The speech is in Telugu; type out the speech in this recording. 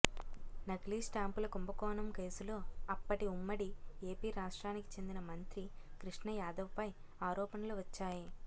నకిలీ స్టాంపుల కుంభకోణం కేసులో అప్పటి ఉమ్మడి ఏపీ రాష్ట్రానికి చెందిన మంత్రి కృష్ణయాదవ్పై ఆరోపణలు వచ్చాయి